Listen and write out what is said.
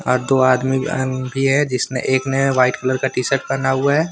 दो आदमी भी है जिसमें एक ने व्हाइट कलर का टी शर्ट पहना हुआ है।